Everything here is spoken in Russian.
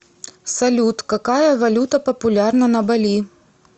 салют какая валюта популярна на бали